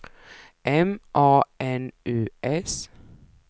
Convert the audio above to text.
M A N U S